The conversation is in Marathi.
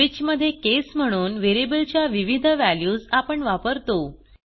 स्विच मध्ये केस म्हणून व्हेरिएबल च्या विविध व्हॅल्यूज आपण वापरतो